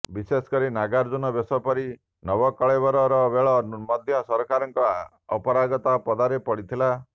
ବିଶେଷକରି ନଗାର୍ଜୁନ ବେଶ ପରି ନବକଳେବର ବେଳେ ମଧ୍ୟ ସରକାରଙ୍କ ଅପାରଗତା ପଦାରେ ପଡ଼ିଥିଲା